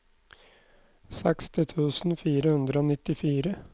seksti tusen fire hundre og nittifire